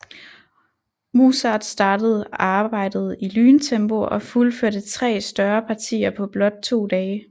Mozart startede arbejdet i lyntempo og fuldførte tre større partier på blot to dage